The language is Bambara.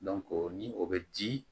ni o bɛ di